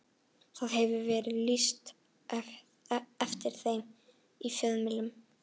Og það hefur verið lýst eftir þeim í fjölmiðlum.